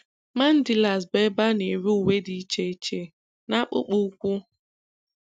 Mandilas bụ ebe a na-ere uwe dị iche iche na akpụkpọ ụkwụ